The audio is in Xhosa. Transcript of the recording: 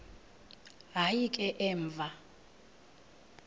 hayi ke emva